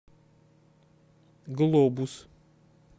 глобус